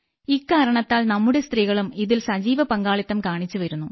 ഇക്കാരണത്താൽ നമ്മുടെ സ്ത്രീകളും ഇതിൽ സജീവ പങ്കാളിത്തം കാണിച്ചു വരുന്നു